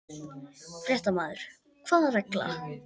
Fréttamaður: Hvaða regla?